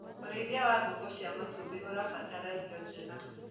ũrĩithi wa ngũkũ cia matumbi ũrabatara irio njega